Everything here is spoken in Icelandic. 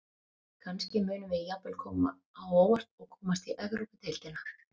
Kannski munum við jafnvel koma á óvart og komast í Evrópudeildina.